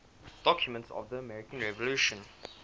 documents of the american revolution